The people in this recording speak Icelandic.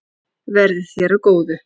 Verði þér að góðu.